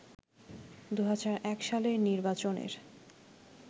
২০০১ সালের নির্বাচনের